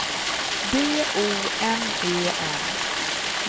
D O M E N